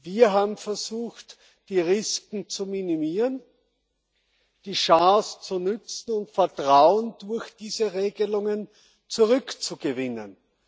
Wir haben versucht, die Risken zu minimieren, die Chance zu nutzen und Vertrauen durch diese Regelungen zurückzugewinnen.